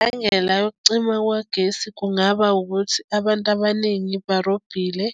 Imbangela yokucima kwagesi kungaba ukuthi abantu abaningi barobile